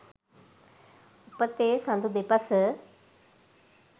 උපතේ සඳු දෙපස